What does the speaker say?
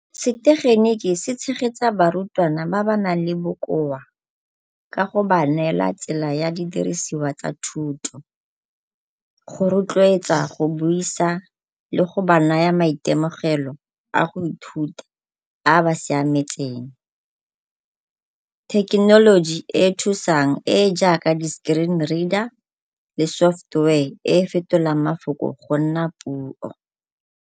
Setegeniki se tshegetsa barutwana ba ba nang le bokoa ka go ba neela tsela ya didiriswa tsa thuto go rotloetsa go buisa, le go ba naya maitemogelo a go ithuta a a ba siametseng. Thekenoloji e e thusang e e jaaka di-screen reader le software e e fetolang mafoko go nna puo.